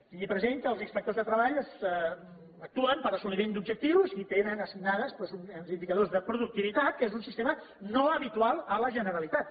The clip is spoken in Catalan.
tingui present que els inspectors de treball actuen per assoliment d’objectius i tenen assignats doncs uns indicadors de productivitat que és un sistema no habitual a la generalitat